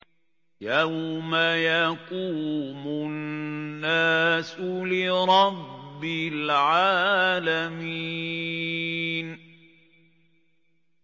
يَوْمَ يَقُومُ النَّاسُ لِرَبِّ الْعَالَمِينَ